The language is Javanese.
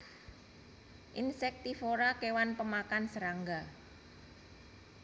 Insektivora kewan pemakan serangga